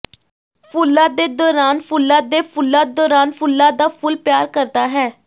ਫੁੱਲਾਂ ਦੇ ਦੌਰਾਨ ਫੁੱਲਾਂ ਦੇ ਫੁੱਲਾਂ ਦੌਰਾਨ ਫੁੱਲਾਂ ਦਾ ਫੁੱਲ ਪਿਆਰ ਕਰਦਾ ਹੈ